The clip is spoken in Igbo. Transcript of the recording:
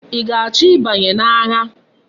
I ga-acho i banye na agha?